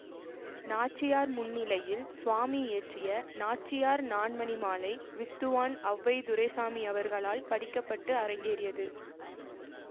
நாச்சியார் முன்னிலையில் சுவாமி இயற்றிய நாச்சியார் நான்மணிமாலை வித்துவான் ஔவை துரைசாமி அவர்களால் படிக்கப்பட்டு அரங்கேறியது